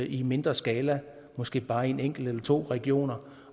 i mindre skala måske bare i en enkelt eller to regioner